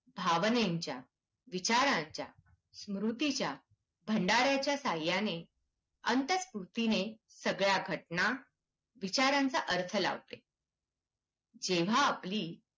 भावनेंच्या, विचारांच्या, स्मृतीच्या भंडाऱ्याच्या सहायाने अंतस्फूर्तीने सगळ्या घटना विचारांचा अर्थ लावतं. जेव्हा आपली